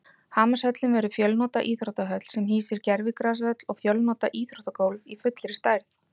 Hamarshöllin verður fjölnota íþróttahöll sem hýsir gervigrasvöll og fjölnota íþróttagólf í fullri stærð.